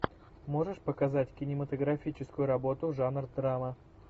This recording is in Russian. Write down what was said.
можешь показать кинематографическую работу жанр драма